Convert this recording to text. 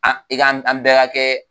i ka an bɛɛ ka kɛ